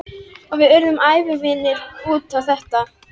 Og við urðum ævivinir út á þetta.